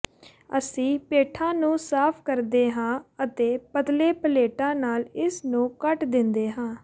ਅਸੀਂ ਪੇਠਾ ਨੂੰ ਸਾਫ ਕਰਦੇ ਹਾਂ ਅਤੇ ਪਤਲੇ ਪਲੇਟਾਂ ਨਾਲ ਇਸ ਨੂੰ ਕੱਟ ਦਿੰਦੇ ਹਾਂ